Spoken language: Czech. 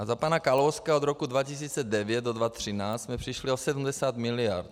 A za pana Kalouska od roku 2009 do 2013 jsme přišli o 70 mld.